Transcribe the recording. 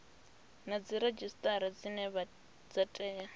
na dziredzhisitara dzine dza tea